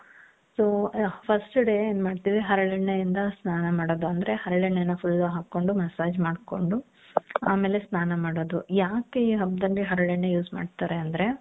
so first day ಏನ್ ಮಾಡ್ತೀವಿ ಹರಳೆಣ್ಣೆಯಿಂದ ಸ್ನಾನ ಮಾಡೋದು ಅಂದ್ರೆ ಹರಳೆಣ್ಣೆನ full ಹಾಕೊಂಡು ಮಸ್ಸಾಜ್ ಮಾಡ್ಕೊಂಡು ಆಮೇಲೆ ಸ್ನಾನ ಮಾಡೋದು ಯಾಕೆ ಈ ಹಬ್ದಲ್ಲಿ ಹರಳೆಣ್ಣೆ use ಮಾಡ್ತಾರೆ ಅಂದ್ರೆ .